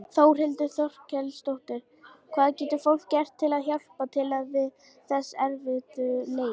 Þórhildur Þorkelsdóttir: Hvað getur fólk gert til að hjálpa til við þessa erfiðu leit?